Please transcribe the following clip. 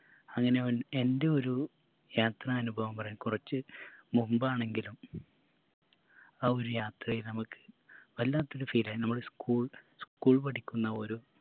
അങ്ങനെ ഒ എൻറെ ഒരു യാത്രാനുഭവം പറയാം കുറച്ച് മുമ്പാണെങ്കിലും ആ ഒരു യാത്രയിൽ നമക്ക് വല്ലാത്തൊരു feel ആയി നമ്മള് school school പഠിക്കുന്ന ഒരു